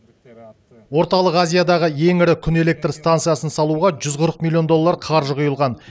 орталық азиядағы ең ірі күн электр станциясын салуға жүз қырық миллион доллар қаржы құйылған